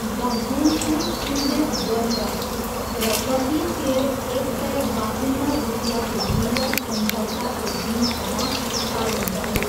The बुल्सले किनबेच गरिरहे र प्रतिसेयर एक सय बाहुन्न रुपियाँको मूल्य सम्झौताको दिनसम्म कायम रह्यो।